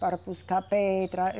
Para buscar pedra.